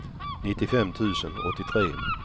nittiofem tusen åttiotre